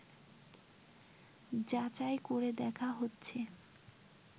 যাচাই করে দেখা হচ্ছে